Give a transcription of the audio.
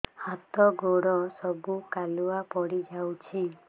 ହାତ ଗୋଡ ସବୁ କାଲୁଆ ପଡି ଯାଉଛି